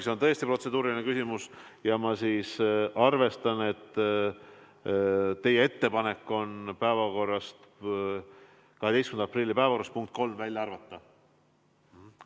See on tõesti protseduuriline küsimus ja ma arvestan, et teie ettepanek on 12. aprilli päevakorrast punkt 3 välja arvata.